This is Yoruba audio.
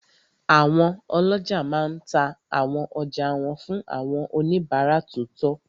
Àwọn ọlọ́jà máa n ta àwọn ọjà wọn fún àwọn oníbàárà tó tọ́